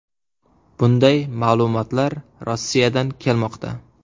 Bunday ma’lumotlar Rossiyadan kelmoqda.